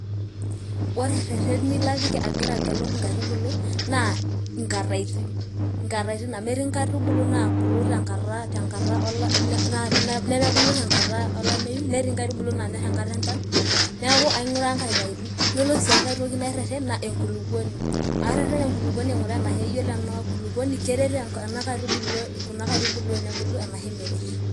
ore rereni lapik agiraagelu ikaitubulu naa nkatitin amu etii inkai tubulu naa bulu nemebu tengata alameyu , netii naanyor enkata enchan, ore sii engae tokinareren naa engulukuoni tenaa keret enaitubulu tenaa meret.